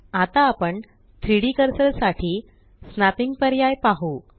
आता आपण 3Dकर्सर साठी स्नॅपिंग पर्याय पाहु